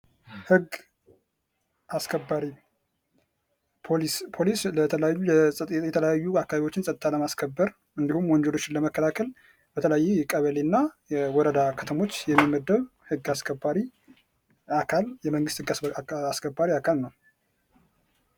ህግ አስከባሪ፤ ፖሊስ፦ ፖሊስ ለተለያዩ የተለያዩ አካባቢዎችን ጸጥታ ለማስከበር እንዲሁም ወንጀሎች ለመከላከል በተለያየ የቀበሌና የወረዳ ከተሞች የሚመደብ ህግ አስከባሪ አካል የመንግስት ህግ አስከባሪ አካል ነው።